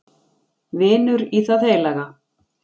Vinur í það heilaga